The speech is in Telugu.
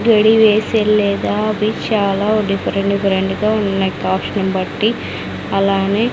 గెడి వేసేల్లేదా అది చాలా డిఫరెంట్ డిఫరెంట్ గా ఉన్నాయ్ కాస్ట్న్ బట్టి అలానే--